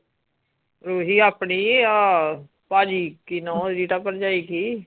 ਓਹੀ ਆਪਣੀ ਆਹ ਭਾਜੀ ਕਿ ਨੌਂ ਅਨੀਤਾ ਭਰਜਾਈ ਦੀ